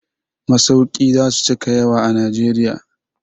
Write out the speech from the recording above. Masauki za su cika yawa a Najeriya.